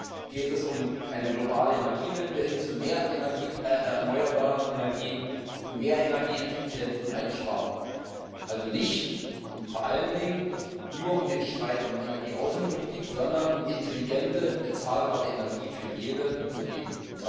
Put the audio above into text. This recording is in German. Erstens geht es um eine globale Energiewende hin zu mehr erneuerbaren Energieträgern, um mehr Energieeffizienz und Energieeinsparung, also nicht und vor allen Dingen nicht nur um den Streit um Energieaußenpolitik, sondern um intelligente bezahlbare Energie für jede und jeden.